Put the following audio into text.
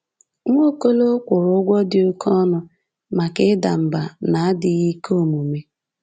Nwaokolo kwụrụ ụgwọ di oke ọnụ maka ida mba na adịghị ike omume.